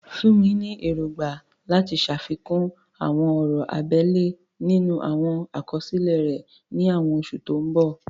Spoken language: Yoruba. Funmi ní èrògbà láti ṣàfikún àwọn ọ̀rọ̀ abẹ́lẹ̀ nínú àwọn àkọsílẹ̀ rẹ̀ ní àwọn oṣù tó ń bọ̀.